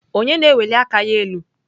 Onye na-eweli aka ya elu?